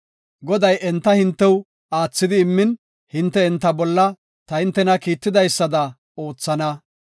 Goday enta hintew aathidi immin, hinte enta bolla ta hintena kiittidaysada oothana.